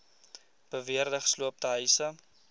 beweerde gesloopte huise